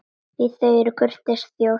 Því þeir eru kurteis þjóð.